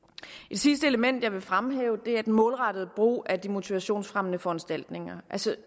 sidste element jeg vil fremhæve er den målrettede brug af de motivationsfremmende foranstaltninger stod